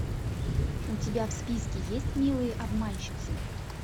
у тебя в списке есть милые обманщицы